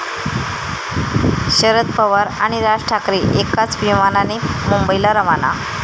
शरद पवार आणि राज ठाकरे एकाच विमानाने मुंबईला रवाना